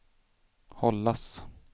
hållas